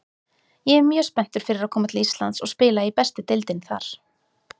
Ég er mjög spenntur fyrir að koma til Íslands og spila í bestu deildinni þar.